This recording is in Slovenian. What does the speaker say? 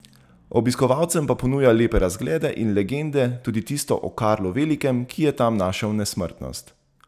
Obiskovalcem pa ponuja lepe razglede in legende, tudi tisto o Karlu Velikem, ki je tam našel nesmrtnost.